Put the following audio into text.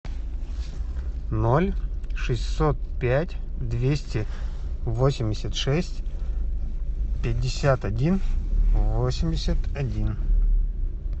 ноль шестьсот пять двести восемьдесят шесть пятьдесят один восемьдесят один